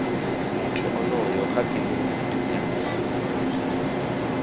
muthu onoyo kha kiliniki ya